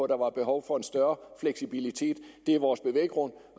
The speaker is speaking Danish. der var behov for en større fleksibilitet det er vores bevæggrund